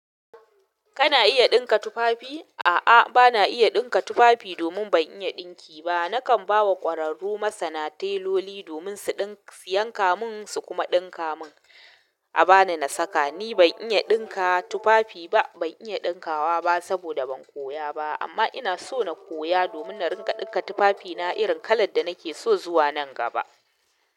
Kana iya ɗinka tufafi? A'a, bana iya ɗinka tufafi domin ban iya ɗinki ba. Nakan ba wa ƙwararru masana teloli domin su yanka mun su kuma ɗinka mun, a bani na saka. Ni ban iya ɗinka tufafi ba, ban iya ɗinkawa ba saboda ban koya ba. Amma ina so na koya domin na riƙa ɗinka tufafina irin kalar da nake so zuwa nan gaba.